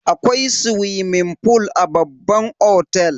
Akwai swimming fool a babban otel.